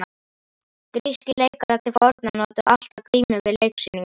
Grískir leikarar til forna notuðu alltaf grímur við leiksýningar.